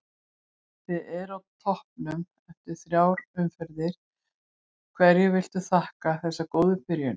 Þið eruð á toppnum eftir þrjár umferðir, hverju viltu þakka þessa góðu byrjun?